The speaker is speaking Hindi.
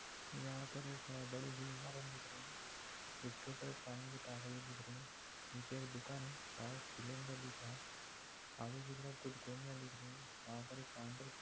यहा पर एक अ बडीसी इमारत दिख रही है जिसके ऊपर एक पानी की टाकी दिख रही है नीचे एक दुकान है वहा एक सिलेंडर दिख रहा है आगे की तरफ कुछ गोणीया दिख रही है वह पर एक काउंटर --